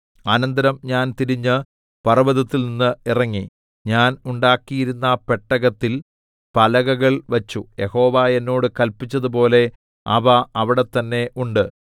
അനന്തരം ഞാൻ തിരിഞ്ഞ് പർവ്വതത്തിൽനിന്ന് ഇറങ്ങി ഞാൻ ഉണ്ടാക്കിയിരുന്ന പെട്ടകത്തിൽ പലകകൾ വച്ചു യഹോവ എന്നോട് കല്പിച്ചതുപോലെ അവ അവിടെത്തന്നെ ഉണ്ട്